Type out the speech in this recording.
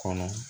Kɔnɔ